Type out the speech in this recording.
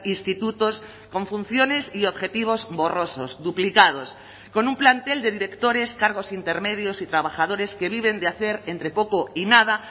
institutos con funciones y objetivos borrosos duplicados con un plantel de directores cargos intermedios y trabajadores que viven de hacer entre poco y nada